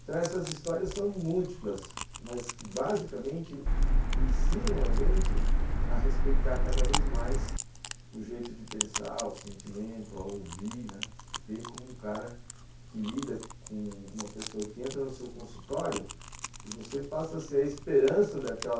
Então essas histórias são múltiplas, mas que basicamente ensinam a gente a respeitar cada vez mais o jeito de pensar, o sentimento, a ouvir, ver como um cara que lida com uma pessoa que entra no seu consultório e você passa a ser a esperança daquela